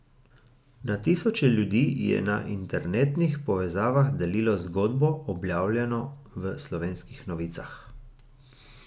Na tisoče ljudi je na internetnih povezavah delilo zgodbo, objavljeno v Slovenskih novicah.